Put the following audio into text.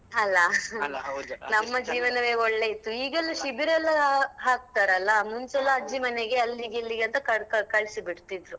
ಅಲ್ಲಾ ನಮ್ಮ ಜೀವನವೇ ಒಳ್ಳೆ ಇತ್ತು ಈಗೆಲ್ಲ ಶಿಬಿರ ಎಲ್ಲಾ ಹಾಕ್ತಾರಲ್ಲ ಮುಂಚೆಯೆಲ್ಲಾ ಅಜ್ಜಿ ಮನೆಗೆ ಅಲ್ಲಿಗೆ ಇಲ್ಲಿಗೆ ಅಂತ ಕಳಿಸಿ ಬಿಡ್ತಿದ್ರು.